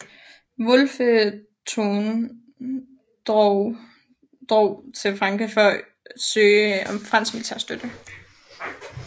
Wolfe Tone drog til Frankrig for at søge om fransk militær støtte